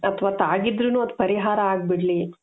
ಅಥವಾ ತಾಗಿದ್ರೂನು ಅದು ಪರಿಹಾರ ಆಗ್ಬಿಡ್ಲಿ